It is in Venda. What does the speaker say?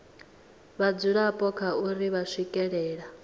vhadzulapo kha uri vha swikelela